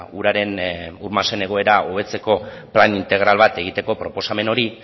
uraren ur masen egoera hobetzeko plan integral bat egiteko proposamen hori